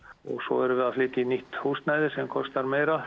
erum við að flytja í nýtt húsnæði sem kostar meira